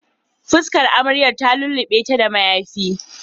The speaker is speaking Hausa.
Fuskar amarya ta lullu6e da mayafi